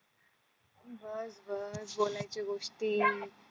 बस बस बोलायच्या गोष्टी